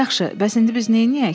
Yaxşı, bəs indi biz nəyləyək?